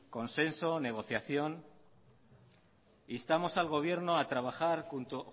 consenso negociación instamos al gobierno a trabajar